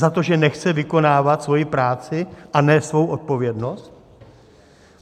Za to, že nechce vykonávat svoji práci a nést svou odpovědnost?